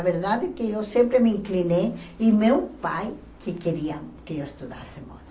A verdade é que eu sempre me inclinei e meu pai que queria que eu estudasse moda.